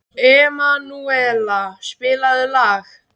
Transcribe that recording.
Emanúela, spilaðu lag.